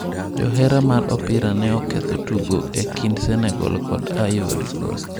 Johera mar opira ne oketho tugo e kind Senegal kod Ivory Coast